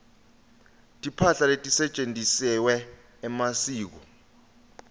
timphahla letisetjentisewa emasiko